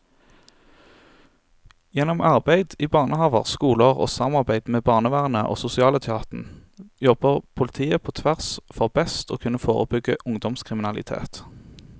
Gjennom arbeid i barnehaver, skoler og samarbeid med barnevernet og sosialetaten jobber politiet på tvers for best å kunne forebygge ungdomskriminalitet.